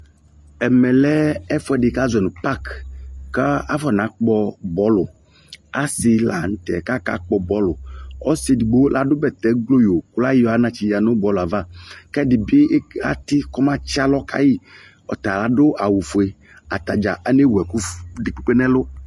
Ɛmɛ lɛ ɛfuɛde ka zɔ no pak ka afona kpɔ bɔluAse lantɛ kaka kpɔ bɔluƆse edigbo lado bɛtɛ gbloyo ko layɔ anatsɛ yia no bɔlɛ ava kɛ ɛde be ate kɔma tse alɔ kaiƆta ado awufue Ata dza anewu ɛko ff, de kpekpe nɛlu